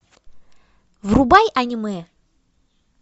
врубай аниме